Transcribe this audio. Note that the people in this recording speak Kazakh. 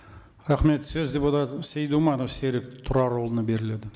рахмет сөз депутат сейдуманов серік тұрарұлына беріледі